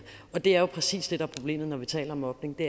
det er præcis det der er problemet når vi taler om mobning